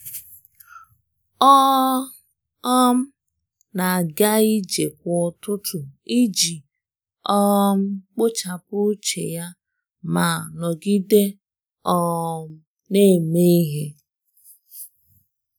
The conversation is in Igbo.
Ọ um na-aga ije kwa ụtụtụ iji um kpochapụ uche ya ma ma nọgide um na-eme ihe.